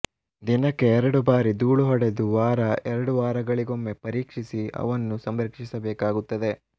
ದಿನಕ್ಕೆ ಎರಡು ಬಾರಿ ದೂಳು ಹೊಡೆದು ವಾರ ಎರಡು ವಾರಗಳಿಗೊಮ್ಮೆ ಪರೀಕ್ಷಿಸಿ ಅವನ್ನು ಸಂರಕ್ಷಿಸಬೇಕಾಗುತ್ತದೆ